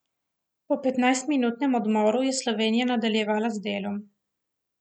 Po petnajstminutnem odmoru je Slovenija nadaljevala z delom.